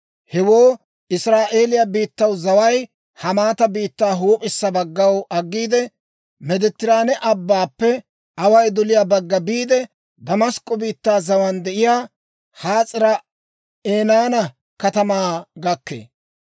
Hewoo Israa'eeliyaa biittaw zaway Hamaata biittaa huup'issa baggaw aggiide, Meediteraane Abbaappe away doliyaa bagga biide, Damask'k'o biittaa zawaan de'iyaa Has'aari-Enaana katamaa gakkee.